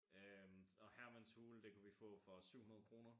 Øh og Hermans Hule det kunne vi få for 700 kroner